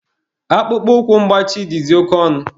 Akpụkpọ ụkwụ mgbachi dịzị oke ọnụ.